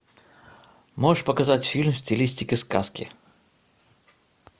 можешь показать фильм в стилистике сказки